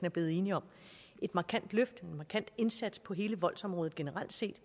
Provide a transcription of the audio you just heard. er blevet enige om et markant løft og en markant indsats på hele voldsområdet generelt set